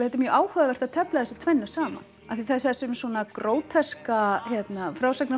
mjög áhugavert að tefla þessu tvennu saman af því að þessu svona